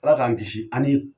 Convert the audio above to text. Ala k'an kisi ani